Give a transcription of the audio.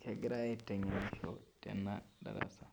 kegirai aitengenisho tenadarasa